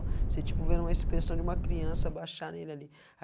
Você, tipo, vendo uma expensão de uma criança baixar nele ali.